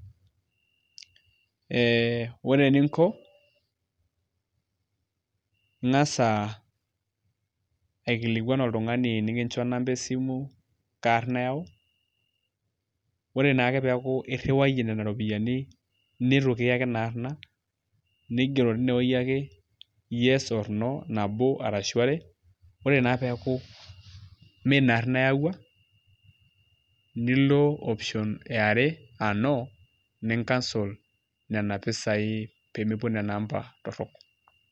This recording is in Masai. Ee ore eninko ing'asa aikulikuan oltung'ani enekincho namba esimu kaa arrna eyau ore naake peeku irriwaie nena ropiyiani nitu kiyaki ina aarrna nigero tinewueji ake yes or no nabo arashu are, ore naa pee eeku miina aarna eyaua nilo option e are aa no nicancel nena pisaai pee mepuo nena amba torrok.